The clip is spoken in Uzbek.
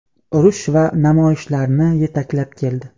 urush va namoyishlarni yetaklab keldi.